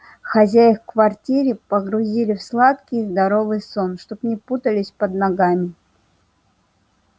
хозяев квартире погрузили в сладкий здоровый сон чтобы не путались под ногами